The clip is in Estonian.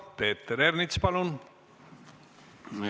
Peeter Ernits, palun!